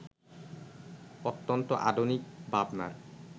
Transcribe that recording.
অত্যন্ত আধুনিক ভাবনার